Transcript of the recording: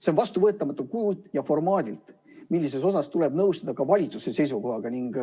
See on vastuvõetamatu kujult ja formaadilt, siin tuleb nõustuda ka valitsuse seisukohaga.